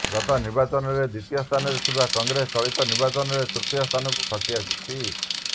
ଗତ ନିର୍ବାଚନରେ ଦ୍ୱିତୀୟ ସ୍ଥାନରେ ଥିବା କଂଗ୍ରେସ ଚଳିତ ନିର୍ବାଚନରେ ତୃତୀୟ ସ୍ଥାନକୁ ଖସି ଆସିଛି